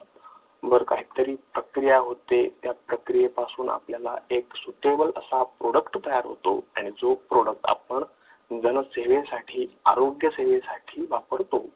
वर काहीतरी प्रक्रिया होते त्या प्रक्रियेपासून आपल्याला एक Suitable असा Product तयार होतो आणि जो Product आपण जनसेवेसाठी आरोग्य सेवेसाठी वापरतो.